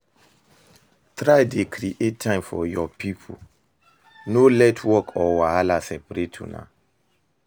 Try dey create time for yur pipo, no let work or wahala separate una